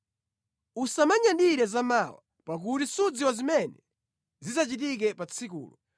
Usamanyadire za mawa, pakuti sudziwa zimene zidzachitike pa tsikulo.